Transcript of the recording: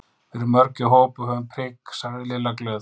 Við erum mörg í hóp og höfum prik sagði Lilla glöð.